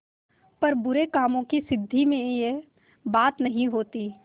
पर बुरे कामों की सिद्धि में यह बात नहीं होती